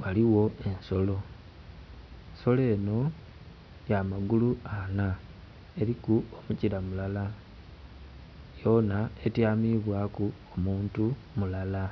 waliwo ensolo. Ensolo enho ya magulu anha, eliku omukira mulala. Yoona etyamibwaku omuntu mulala.